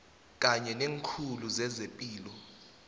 kanye neekhulu zezepilo